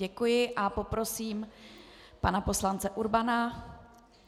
Děkuji a poprosím pana poslance Urbana.